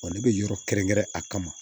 ne bɛ yɔrɔ kɛrɛnkɛrɛn a kama